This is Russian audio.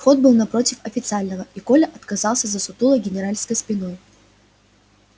вход был напротив официального и коля отказался за сутулой генеральской спиной